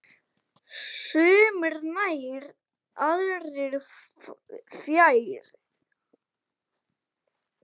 Sumir nær, aðrir fjær.